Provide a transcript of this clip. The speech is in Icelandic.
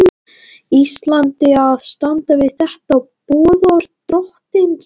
Íslandi að standa við þetta boðorð drottins.